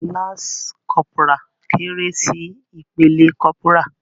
Lansi kọ́pórá kéré sí ìpele kọ́pórà.